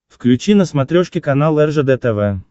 включи на смотрешке канал ржд тв